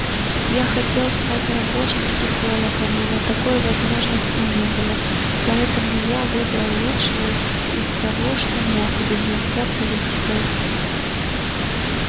я хотел стать рабочим психологом но на такой возможности не было поэтому я выбрал лучшее из того что мог занялся политикой